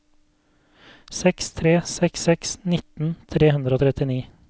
seks tre seks seks nitten tre hundre og trettini